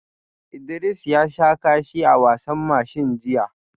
Idris ya sha kashi a wasan mashin jiya